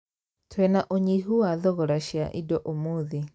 Twĩna ũnyihu wa thogora cia indo ũmũthĩ